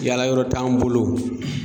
Yala yɔrɔ t'an bolo